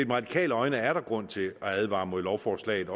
med radikale øjne er der grund til at advare mod lovforslaget